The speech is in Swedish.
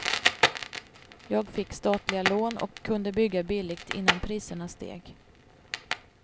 Jag fick statliga lån och kunde bygga billigt innan priserna steg.